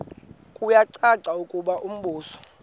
kuyacaca ukuba umbuso